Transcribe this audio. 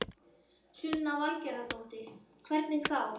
Sunna Valgerðardóttir: Hvernig þá?